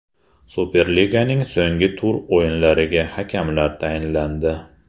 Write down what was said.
Superliganing so‘nggi tur o‘yinlariga hakamlar tayinlandi.